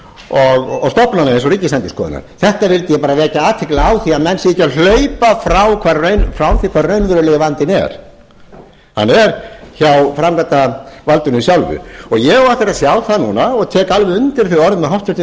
eins og ríkisendurskoðunar þessu vildi ég bara vekja athygli á svo menn séu ekki að hlaupa frá því hvar raunverulegi vandinn er hann er hjá framkvæmdarvaldinu sjálfu ég á eftir að sjá það núna og tek alveg undir þau orð með háttvirtum